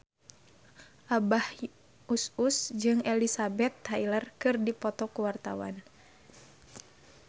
Abah Us Us jeung Elizabeth Taylor keur dipoto ku wartawan